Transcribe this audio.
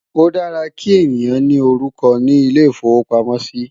o dára kí èyán ní orúkọ ní ilè ifowo pàmò sí